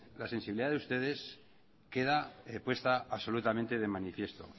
la sensibilidad de ustedes queda puesta absolutamente de manifiesto